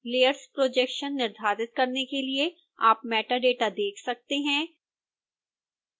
layers projection निर्धारित करने के लिए आप metadata देख सकते हैं